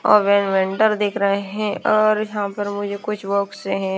और देख रहे हैं और यहाँ पर मुझे कुछ --